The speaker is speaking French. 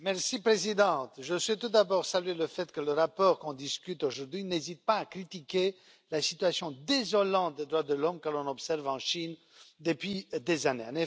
Madame la Présidente, je souhaite tout d'abord saluer le fait que le rapport dont on discute aujourd'hui n'hésite pas à critiquer la situation désolante des droits de l'homme que l'on observe en Chine depuis des années.